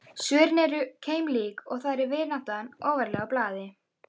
Svörin eru keimlík og þar er vináttan ofarlega á blaði.